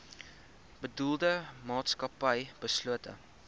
bedoelde maatskappy beslote